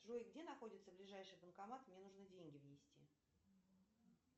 джой где находится ближайший банкомат мне нужно деньги внести